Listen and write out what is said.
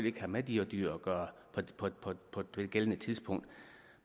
ikke have med de dyr at gøre på det gældende tidspunkt